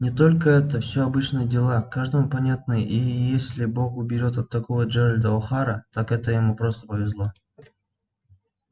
но только это все обычные дела каждому понятные и если бог уберёг от такого джералда охара так это ему просто повезло